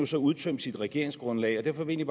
så udtømt sit regeringsgrundlag og derfor vil jeg